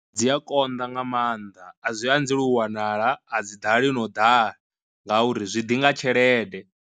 Dzi a konḓa nga maanḓa a zwi anzela u wanala, a dzi ḓali no ḓala ngauri zwi ḓi nga tshelede.